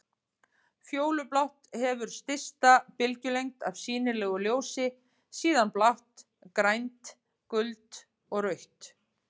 Fjólublátt hefur stysta bylgjulengd af sýnilegu ljósi, síðan blátt, grænt, gult og rautt.